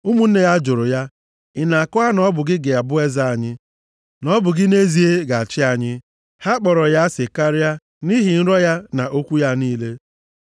Ụmụnne ya jụrụ ya, “Ị na-akọwa na ọ bụ gị ga-abụ eze anyị? Na ọ bụ gị nʼezie ga-achị anyị?” Ha kpọrọ ya asị karịa nʼihi nrọ ya na okwu ya niile.